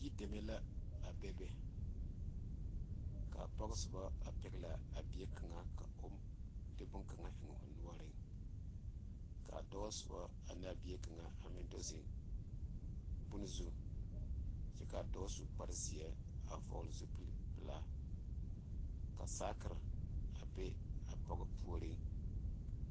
Yideme la a be be kaa pɔge soba a pegle laa a bie kaŋa ka o de bon kaŋa eŋ o noɔre kaa dɔɔ soba ane a bie kaŋa a meŋ do zeŋ bonzu kyɛ kaa dɔɔ su kpare ziɛ a vɔgle zupele pelaa ka saakere a be a pɔge puori.